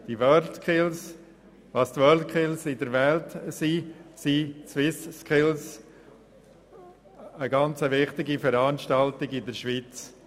Die SwissSkills sind eine sehr wichtige Veranstaltung in der Schweiz.